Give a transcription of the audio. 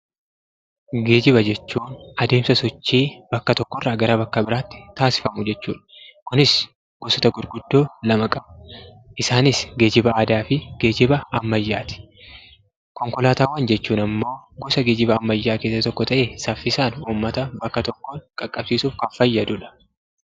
Geejjiba jechuun adeemsa sochii bakka tokko irraa gara bakka biraatti taasifamu jechuu dha. Kunis gosoota gurguddoo lama qaba. Isaanis geejjiba aadaa fi geejjiba ammayyaa ti. Konkolaataawwan jechuun ammoo gosa geejjiba ammayyaa keessaa isa tokko ta'ee, saffisaan ummata bakka tokkoon qaqqabsiisuuf kan fayyadu dha.